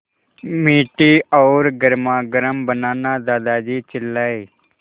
मीठी और गर्मागर्म बनाना दादाजी चिल्लाए